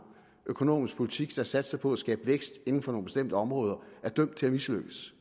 økonomisk politik der satser på at skabe vækst inden for nogle bestemte områder er dømt til at mislykkes